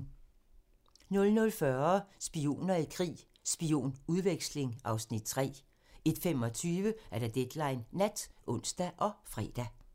00:40: Spioner i krig: Spionudveksling (Afs. 3) 01:25: Deadline Nat (ons og fre)